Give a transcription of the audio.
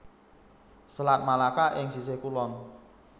Selat Melaka ing sisih kulon